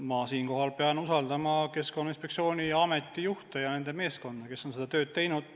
Ma selle koha pealt pean usaldama Keskkonnainspektsiooni ja ameti juhte ja nende meeskondi, kes on seda tööd teinud.